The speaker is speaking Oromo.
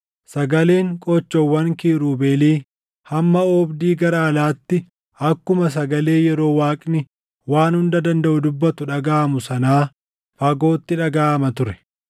Sagaleen qoochoowwan kiirubeelii hamma oobdii gara alaatti akkuma sagalee yeroo Waaqni Waan Hunda Dandaʼu dubbatu dhagaʼamu sanaa fagootti dhagaʼama ture.